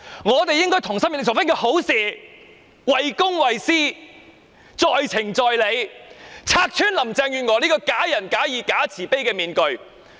我們應該同心協力做一件好事，為公為私，在情在理，拆穿林鄭月娥這個假仁假義、假慈悲的面具。